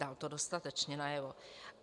Dal to dostatečně najevo.